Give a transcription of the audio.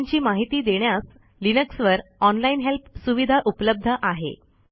कमांडची माहिती देण्यास लिनक्सवर ऑनलाईन हेल्प सुविधा उपलब्ध आहे